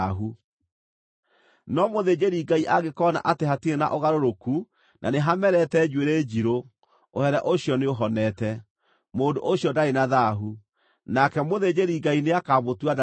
No mũthĩnjĩri-Ngai angĩkoona atĩ hatirĩ na ũgarũrũku na nĩhamerete njuĩrĩ njirũ, ũhere ũcio nĩũhonete. Mũndũ ũcio ndarĩ na thaahu, nake Mũthĩnjĩri-Ngai nĩakamũtua ndarĩ na thaahu.